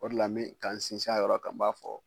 O de la n be ka n sinsin a yɔrɔ kan n b'a fɔ